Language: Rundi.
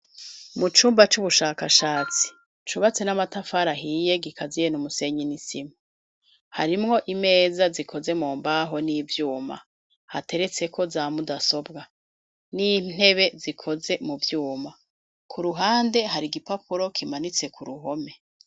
Mu cumba c'ubushakashatsi cubatse n'amatafara hiye gikaziye n'umusenyi nisima harimwo imeza zikoze mu mbaho n'ivyuma hateretse ko zamudasobwa n'intebe zikoze mu vyuma ku ruhande hari igipapuro kimanitse ku ruhome.